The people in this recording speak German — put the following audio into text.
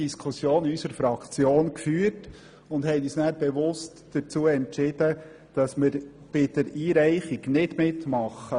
Das haben wir diskutiert und entschieden, bei der Einreichung nicht mitmachen.